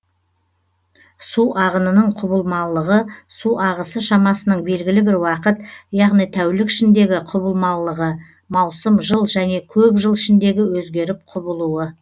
су ағынының құбылмалылығы су ағысы шамасының белгілі бір уақыт яғни тәулік ішіндегі құбылмалылығы маусым жыл және көп жыл ішіндегі өзгеріп құбылуы